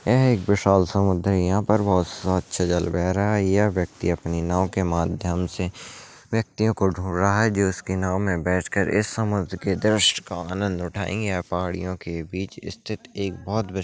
यह एक विशाल समुद्र है यहाँ पर बहोत स्वच्छ जल बह रहा है ये व्यक्ति अपनी नाव के माध्यम से व्यक्तियों को ढूंढ रहा है जो उसकी नाव में बैठकर इस समुद्र के दृश्य का आनन्द उठायेंगे यह पहाड़ियों के बीच स्थित एक बहोत विस --